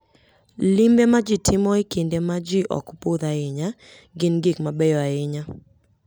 Limbe ma ji timo e kinde ma ji ok budh ahinya gin gik mabeyo ahinya.